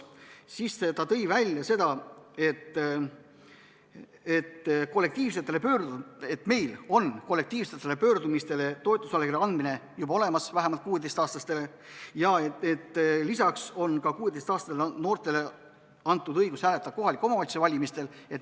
Ta tõi välja, et meil on kollektiivsetele pöördumistele toetusallkirja andmise õigus vähemalt 16-aastasel inimesel juba olemas, lisaks on 16-aastasele noorele antud õigus hääletada kohalike omavalitsuste valimistel.